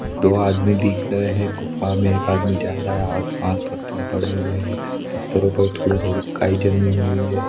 दो आदमी दिख रहे है गुफा में एक आदमी जा रहा है आस पास पत्थर पड़े हुए है पत्थरो पर थोड़ी थोड़ी काई जमी हुई हैं।